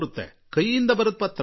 ಅವರು ಕೈಯಲ್ಲಿ ಬರೆದ ಪತ್ರ ಬರುತ್ತದೆ